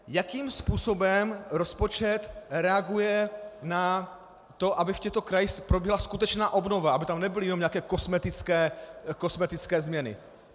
Jakým způsobem rozpočet reaguje na to, aby v těchto krajích proběhla skutečná obnova, aby tam nebyly jenom nějaké kosmetické změny?